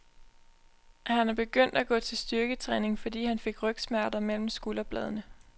Han er begyndt at gå til styrketræning, fordi han fik rygsmerter mellem skulderbladene.